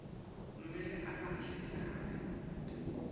kumele ahlale ekhaya